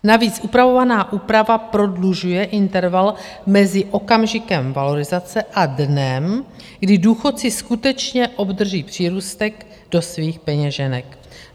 Navíc upravovaná úprava prodlužuje interval mezi okamžikem valorizace a dnem, kdy důchodci skutečně obdrží přírůstek do svých peněženek.